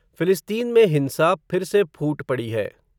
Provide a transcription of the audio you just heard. फ़िलिस्तीन में हिंसा, फिर से फूट पड़ी है